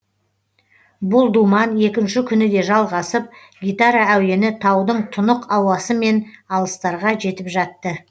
бұл думан екінші күні де жалғасып гитара әуені таудың тұнық ауасымен алыстарға жетіп жатты